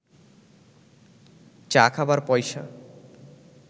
চা খাবার পয়সা